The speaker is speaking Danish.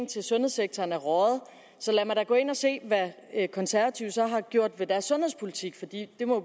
til sundhedssektoren er røget så lad mig da gå ind og se hvad konservative så har gjort ved deres sundhedspolitik for det må